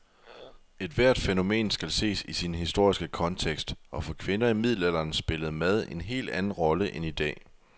Ethvert fænomen skal ses i sin historiske kontekst, og for kvinder i middelalderen spillede mad en helt anden rolle end i dag.